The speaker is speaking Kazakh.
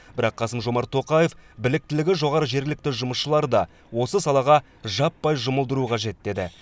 бірақ қасым жомарт тоқаев біліктілігі жоғары жергілікті жұмысшыларды да осы салаға жаппай жұмылдыру қажет деді